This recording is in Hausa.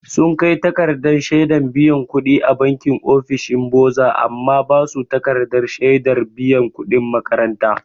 Sun kai takardar shedan biyan kuɗi a banki ofishin boza an ba su takardar shaidar biyan kuɗin makaranta.